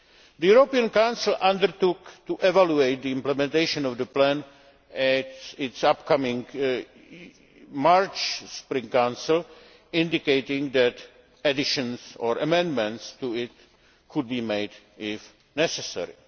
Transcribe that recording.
The European Council undertook to evaluate the implementation of the plan at its upcoming March spring Council, indicating that additions or amendments to it could be made if necessary.